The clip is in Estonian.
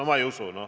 No ma ei usu.